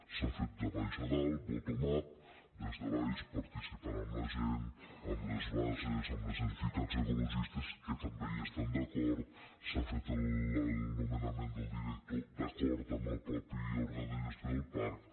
s’ha fet de baix a dalt bottom upamb les bases amb les entitats ecologistes que també hi estan d’acord s’ha fet el nomenament del director d’acord amb el mateix òrgan de gestió del parc